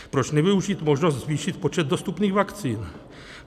Proč nevyužít možnost zvýšit počet dostupných vakcín.